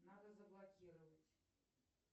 надо заблокировать